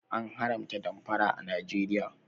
An haramta damfara a Najeriya